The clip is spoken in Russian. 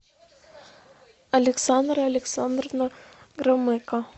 александра александровна громыко